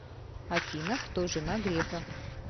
афина кто жена грефа